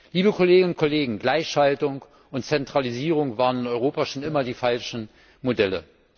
Liebe Kolleginnen und Kollegen, Gleichschaltung und Zentralisierung waren in Europa schon immer die falschen Modelle.